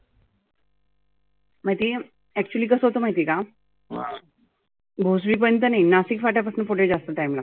मधी actually कसं होतं माहिती आहे का? भोसरी पर्यंत नाही नाशिक फाट्या पासुन पुढे जास्त time लागतो.